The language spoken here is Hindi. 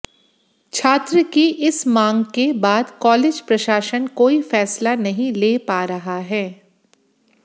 छात्र की इस मांग के बाद कॉलेज प्रशासन कोई फैसला नहीं ले पा रहा है